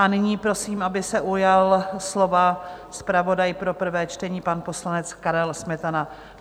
A nyní prosím, aby se ujal slova zpravodaj pro prvé čtení, pan poslanec Karel Smetana.